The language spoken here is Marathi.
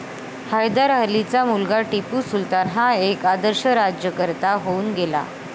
हैदर अलीचा मुलगा टिपू सुलतान हा एक आदर्श राज्यकर्ता होऊन गेला.